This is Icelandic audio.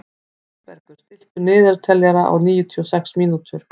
Oddbergur, stilltu niðurteljara á níutíu og sex mínútur.